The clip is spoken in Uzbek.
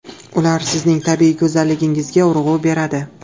Ular sizning tabiiy go‘zalligingizga urg‘u beradi.